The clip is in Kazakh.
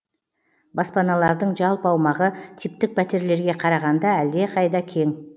баспаналардың жалпы аумағы типтік пәтерлерге қарағанда әлдеқайда кең